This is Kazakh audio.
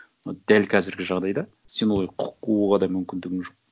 но дәл қазіргі жағдайда сен олай құқық қууға да мүмкіндігің жоқ